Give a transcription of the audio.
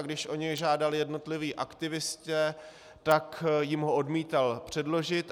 A když o něj žádali jednotliví aktivisté, tak jim ho odmítal předložit.